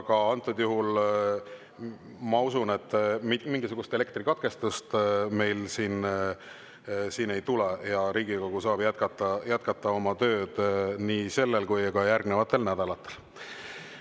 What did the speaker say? Aga antud juhul ma usun, et mingisugust elektrikatkestust meil siin ei tule ja Riigikogu saab jätkata oma tööd nii sellel nädalal kui ka järgnevatel nädalatel.